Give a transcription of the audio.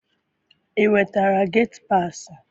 I nwetara geti paasị?